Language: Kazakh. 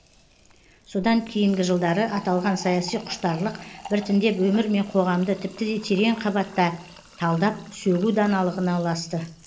содан кейінгі жылдары аталған саяси құштарлық біртіндеп өмір мен қоғамды тіпті де терең қабатта талдап сөгу даналығына ұласты